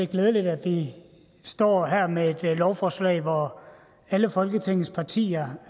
glædeligt at vi står her med et lovforslag hvor alle folketingets partier